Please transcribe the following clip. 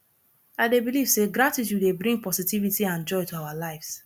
i dey believe say gratitude dey bring positivity and joy to our lives